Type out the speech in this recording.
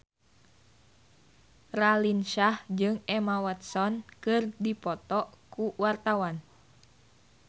Raline Shah jeung Emma Watson keur dipoto ku wartawan